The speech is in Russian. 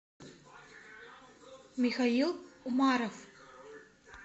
михаил умаров